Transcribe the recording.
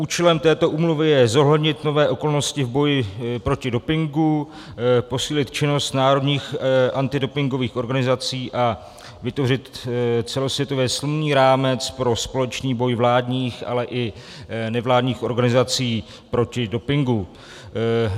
Účelem této úmluvy je zohlednit nové okolnosti v boji proti dopingu, posílit činnost národních antidopingových organizací a vytvořit celosvětově silný rámec pro společný boj vládních, ale i nevládních organizací proti dopingu.